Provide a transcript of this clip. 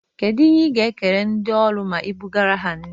Kedụ ihe i ga-ekele ndị ọrụ ma i bụgaara ha nri?